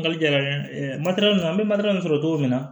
Nkali jɛlen ma an bɛ sɔrɔ cogo min na